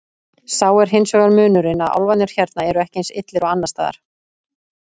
Sá er hins vegar munurinn að álfarnir hérna eru ekki eins illir og annars staðar.